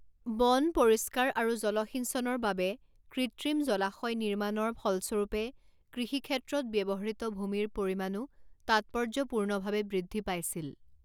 বন পৰিষ্কাৰ আৰু জলসিঞ্চনৰ বাবে কৃত্ৰিম জলাশয় নিৰ্মাণৰ ফলস্বৰূপে কৃষিক্ষেত্ৰত ব্যৱহৃত ভূমিৰ পৰিমাণো তাৎপৰ্য্যপূৰ্ণভাৱে বৃদ্ধি পাইছিল।